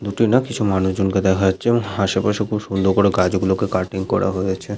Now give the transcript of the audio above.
দুটি না কিছু মানুষজন কে দেখা যাচ্ছে এবং হাশেপাশে খুব সুন্দর করে গাছগুলোকে কাটিং করা হয়েছে।